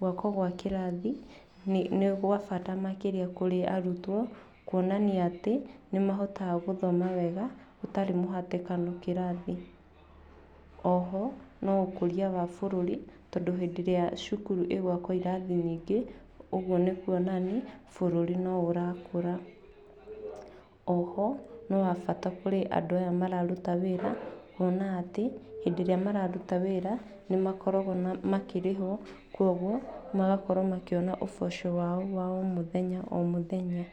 gwakwo gwa kĩrathi nĩ nĩ gwabata makĩria kũrĩ arutwo kuonania atĩ, nĩ mahotaga gũthoma wega hatarĩ mũhatĩkano kĩrathi, oho, no ũkoria wa bũrũri, tondũ hĩndĩ ĩrĩa cukuru ĩgwakwo irathi nyingĩ, ũguo nĩ kuonania bũrũri no ũrakũra. Oho no wabata kũrĩ andũ aya mararuta wĩra, kuona atĩ hĩndĩ ĩrĩa mararuta wĩra nĩ makoragwo na makĩrĩhwo, kwoguo magakorwo makĩona ũboco wao wa o mũthenya, o mũthenya.